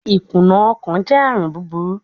Ikuna ọkan jẹ arun buburu